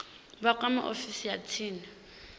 vha kwame ofisi ya tsini